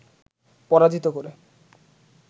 পরাজিত করে